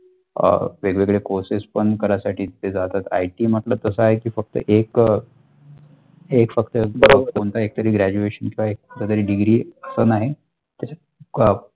अ वेगवेगळे courses पण करासाठी ते जातात IT मतबल तशा आहे की फक्त एक हे फक्त कोणता एक तरिक Graduation जो एक degree पण आहे .